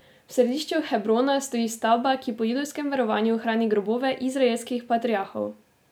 V središču Hebrona stoji stavba, ki po judovskem verovanju hrani grobove izraelskih patriarhov.